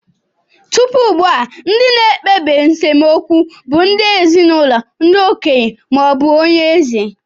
Tupu ugbu a, ndị na-ekpebi nsemokwu bụ ndị ezinụlọ, ndị okenye, ma ọ bụ onye eze.